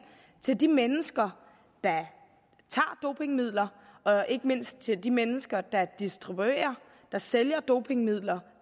til de mennesker der tager dopingmidler og ikke mindst til de mennesker der distribuerer og sælger dopingmidler